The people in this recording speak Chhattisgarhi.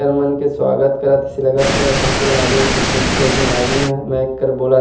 कर मन के स्वागत करत ही से लगत हे बहुते कन आदमी मन कुर्सी म बइठे हे एक झन आदमी ह मैक कर बोला --